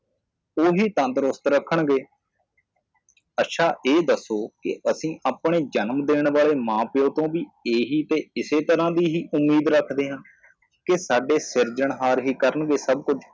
ਓਹੀ ਤੰਦਰੁਸਤ ਰੱਖਣਗੇ ਅੱਛਾ ਇਹ ਦਸੋ ਕਿ ਅਸੀ ਆਪਣੇ ਜਨਮ ਦੇਣ ਵਾਲੇ ਮਾਂ ਪਿਓ ਕੋ ਵੀ ਏਹੀ ਤੇ ਇਸੇ ਤਰਾਹ ਦੀ ਹੀ ਉਮੀਦ ਰੱਖਦੇ ਹਾਂ ਕਿ ਸਾਡੇ ਸਿਰਜਣਹਾਰ ਹੀ ਕਰਣਗੇ ਸਬ ਕੁੱਝ